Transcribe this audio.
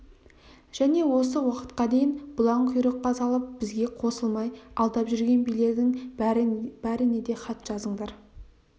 және осы уақытқа дейін бұлаң құйрыққа салып бізге қосылмай алдап жүрген билердің бәріне де хат жазыңдар